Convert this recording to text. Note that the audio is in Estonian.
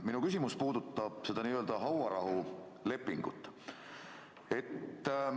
Minu küsimus puudutab seda hauarahulepingut.